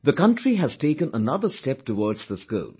The country has taken another step towards this goal